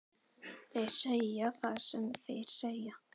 Þeir segja það sem þeir segja,